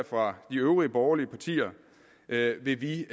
fra de øvrige borgerlige partier vil vi vi